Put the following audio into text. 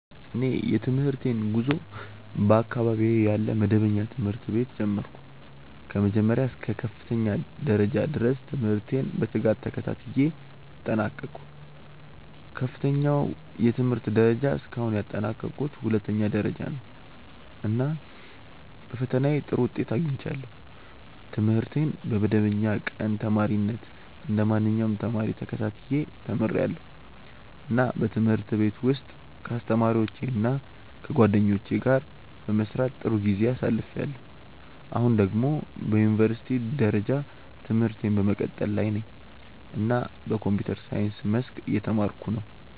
እኔ የትምህርቴን ጉዞ በአካባቢዬ ያለ መደበኛ ትምህርት ቤት ጀመርሁ። ከመጀመሪያ እስከ ከፍተኛ ደረጃ ድረስ ትምህርቴን በትጋት ተከታትዬ አጠናቀቅሁ። ከፍተኛው የትምህርት ደረጃ እስካሁን ያጠናቀቅሁት ሁለተኛ ደረጃ ነው፣ እና በፈተናዬ ጥሩ ውጤት አግኝቻለሁ። ትምህርቴን በመደበኛ ቀን ተማሪነት እንደ ማንኛውም ተማሪ ተከታትዬ ተምርያለሁ፣ እና በትምህርት ቤት ውስጥ ከአስተማሪዎቼ እና ከጓደኞቼ ጋር በመስራት ጥሩ ጊዜ አሳልፍያለሁ። አሁን ደግሞ በዩኒቨርሲቲ ደረጃ ትምህርቴን በመቀጠል ላይ ነኝ እና በኮምፒውተር ሳይንስ መስክ እየተማርኩ ነው።